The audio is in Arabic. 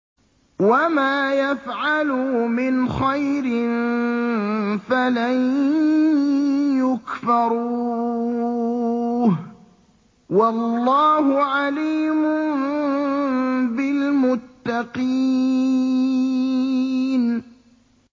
وَمَا يَفْعَلُوا مِنْ خَيْرٍ فَلَن يُكْفَرُوهُ ۗ وَاللَّهُ عَلِيمٌ بِالْمُتَّقِينَ